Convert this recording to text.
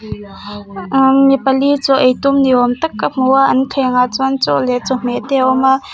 umm mi pali chaw ei tum ni awm tak ka hmu a an thlengah chuan chaw leh chawhmeh te a awm a.